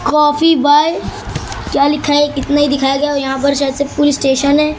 Coffee by क्या लिखा है ये इतना ही दिखाया गया है और यहां पर शायद से पुलिस स्टेशन है।